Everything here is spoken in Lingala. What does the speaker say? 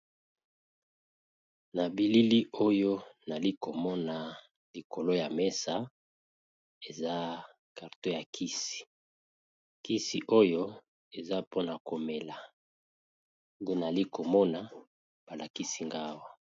Na bilili oyo nali ko mona likolo ya mesa eza carton ya kisi . Kisi oyo eza pona ko mela, nali ko mona ba lakisi nga awa .